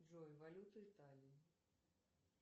джой валюта италии